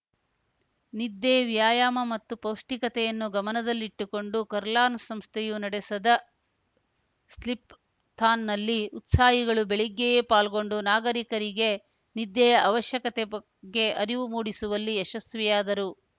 ನಿದ್ದೆ ವ್ಯಾಯಾಮ ಮತ್ತು ಪೌಷ್ಠಿಕತೆಯನ್ನು ಗಮನದಲ್ಲಿಟ್ಟುಕೊಂಡು ಕರ್ಲಾನ್ ಸಂಸ್ಥೆಯು ನಡೆಸದ ಸ್ಲಿಪ್ ಥಾನ್‌ನಲ್ಲಿ ಉತ್ಸಾಹಿಗಳು ಬೆಳಿಗ್ಗೆಯೇ ಪಾಲ್ಗೊಂಡು ನಾಗರಿಕರಿಗೆ ನಿದ್ದೆಯ ಅವಶ್ಯಕತೆ ಬಗ್ಗೆ ಅರಿವು ಮೂಡಿಸುವಲ್ಲಿ ಯಶಸ್ವಿಯಾದರು